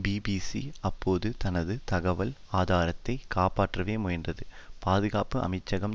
BBC அப்போதும் தனது தகவல் ஆதாரத்தை காப்பாற்றவே முயன்றது பாதுகாப்பு அமைச்சகம்